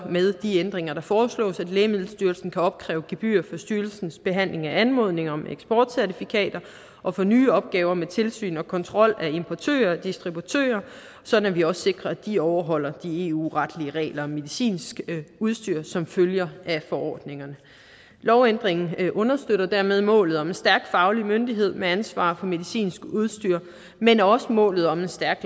med de ændringer der foreslås at lægemiddelstyrelsen kan opkræve gebyrer for styrelsens behandling af anmodning om eksportcertifikater og for nye opgaver med tilsyn og kontrol af importører og distributører sådan at vi også sikrer at de overholder de eu retlige regler om medicinsk udstyr som følger af forordningerne lovændringen understøtter dermed målet om en stærk faglig myndighed med ansvar for medicinsk udstyr men også målet om en stærk